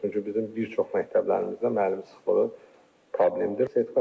Çünki bizim bir çox məktəblərimizdə müəllim sıxlığı problemdir.